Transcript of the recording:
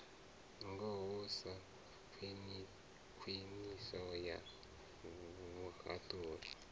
ngaho sa khwiniso ya vhuhaṱuli